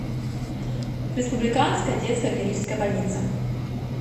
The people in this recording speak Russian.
республиканская детская клиническая больница